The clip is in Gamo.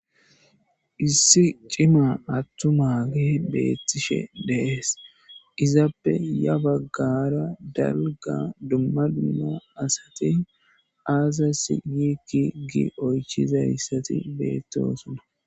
Issi cima atumagey betishe de'es. Izappe ha bagara dalga dumma dumma asati azasi gidi oychizaysati bettosona.